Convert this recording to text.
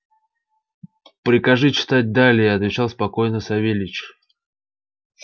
прикажи читать далее отвечал спокойно савельич